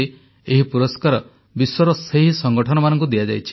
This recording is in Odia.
ଏହି ପୁରସ୍କାର ବିଶ୍ୱର ସେହି ସଙ୍ଗଠନମାନଙ୍କୁ ଦିଆଯାଇଛି